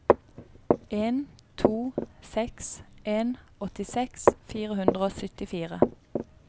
en to seks en åttiseks fire hundre og syttifire